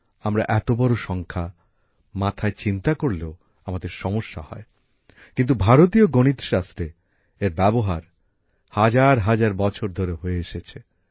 আমরা এত বড় সংখ্যা মাথায় চিন্তা করলেও আমাদের সমস্যা হয় কিন্তু ভারতীয় গণিতশাস্ত্রে এর ব্যবহার হাজার হাজার বছর ধরে হয়ে এসেছে